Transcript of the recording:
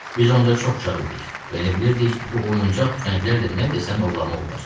Biz onda çox uşaq idik və elə bilirdik bu oyuncaq tüfənglərlə nə desən ovlamaq olar.